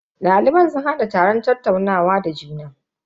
Daliban sun hada taron tattaunawa da juna.